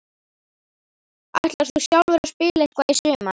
Ætlar þú sjálfur að spila eitthvað í sumar?